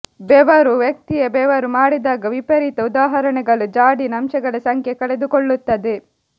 ಬೆವರು ವ್ಯಕ್ತಿಯ ಬೆವರು ಮಾಡಿದಾಗ ವಿಪರೀತ ಉದಾಹರಣೆಗಳು ಜಾಡಿನ ಅಂಶಗಳ ಸಂಖ್ಯೆ ಕಳೆದುಕೊಳ್ಳುತ್ತದೆ